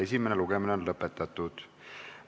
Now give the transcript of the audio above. Esimene lugemine on lõpetatud.